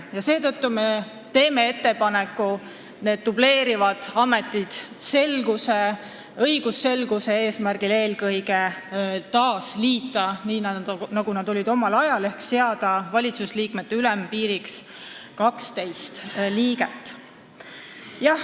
Seetõttu teeme ettepaneku need dubleerivad ametid selguse, eelkõige õigusselguse eesmärgil taas liita, nii nagu omal ajal oli, ehk seada valitsusliikmete arvu ülempiiriks 12.